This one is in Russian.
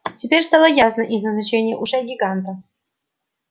теперь стало ясно и назначение ушей гиганта